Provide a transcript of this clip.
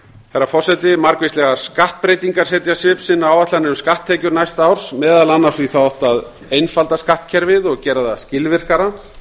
herra forseti margvíslegar skattbreytingar setja svip sinn á áætlanir um skatttekjur næsta árs meðal annars í þá átt að einfalda skattkerfið gera það skilvirkara